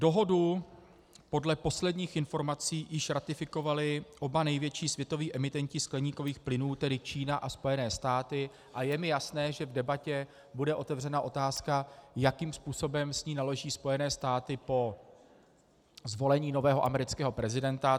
Dohodu podle posledních informací již ratifikovali oba největší světoví emitenti skleníkových plynů, tedy Čína a Spojené státy, a je mi jasné, že v debatě bude otevřena otázka, jakým způsobem s ní naloží Spojené státy po zvolení nového amerického prezidenta.